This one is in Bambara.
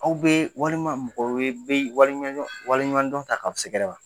Aw bɛ walima mɔgɔ wɛrɛ bɛ wale wale ɲumandɔn ta k'aw segɛrɛ wa?